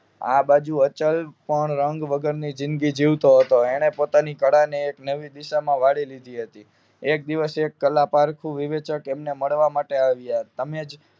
આ બાજુ અચલ પણ રંગ વગર ની જિદગી જીવતો હતો તેને પોતાની કળા ને એક નવી દિશા માં વાળી લીધી હતી એક દિવસ કલા પારખું વિવેચક એમને મળવા માટે આવ્યા તમેજ